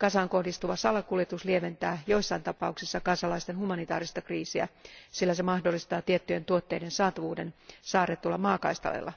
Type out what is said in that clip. Gazaan kohdistuva salakuljetus lieventää joissain tapauksissa gazalaisten humanitaarista kriisiä, sillä se mahdollistaa tiettyjen tuotteiden saatavuuden saarretulla maakaistaleella,